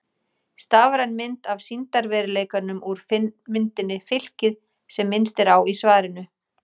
Stafræn mynd af sýndarveruleikanum úr myndinni Fylkið sem minnst er á í svarinu.